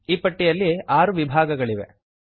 ಈ ಪಟ್ಟಿಯಲ್ಲಿ ಆರು ವಿಭಾಗಗಳಿವೆ